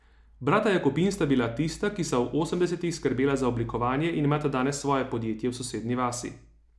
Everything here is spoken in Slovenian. Brata Jakopin sta bila tista, ki sta v osemdesetih skrbela za oblikovanje in imata danes svoje podjetje v sosednji vasi.